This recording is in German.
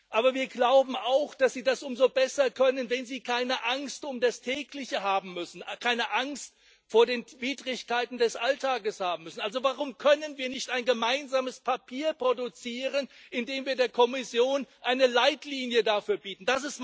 Aber wir glauben auch, dass sie das umso besser können, wenn sie keine Angst um das Tägliche haben müssen, keine Angst vor den Widrigkeiten des Alltages haben müssen. Also warum können wir nicht ein gemeinsames Papier produzieren, indem wir der Kommission eine Leitlinie dafür bieten?